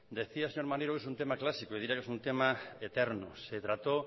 decía el señor maneiro que es un tema clásico diría que es un tema eterno se trató